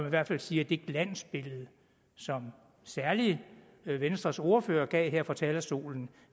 i hvert fald sige at det glansbillede som særlig venstres ordfører gav her fra talerstolen